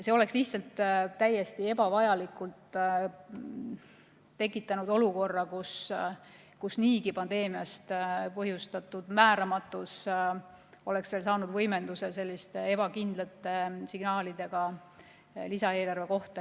See oleks täiesti ebavajalikult tekitanud olukorra, kus pandeemia põhjustatud määramatus oleks veelgi saanud võimendust selliste ebakindlate signaalidega lisaeelarve kohta.